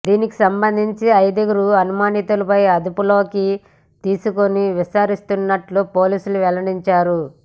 దీనికి సంబంధించి ఐదుగురు అనుమానితులను అదుపులోకి తీసుకుని విచారిస్తున్నట్టు పోలీసులు వెల్లడించారు